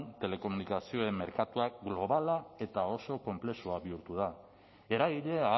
telekomunikazioen merkatuak globala eta oso konplexua bihurtu da eragile